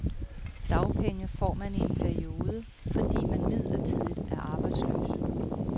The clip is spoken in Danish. Dagpenge får man i en periode, fordi man midlertidigt er arbejdsløs.